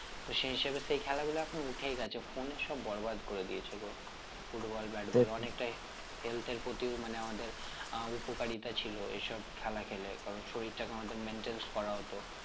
তো সেই হিসেবে সেই খেলাগুলো এখন উঠেই গেছে phone এ সব বরবাদ করে দিয়েছে গো football bat ball অনেকটাই health এর প্রতিও মানে আমাদের আহ উপকারিতা ছিল এই সব খেলা খেলে কারণ শরীরটা কে আমাদের maintenance করা হতো